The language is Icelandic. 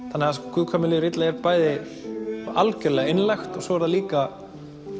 guð hvað mér líður illa er bæði algjörlega einlægt og svo er það líka